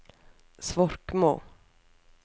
Svorkmo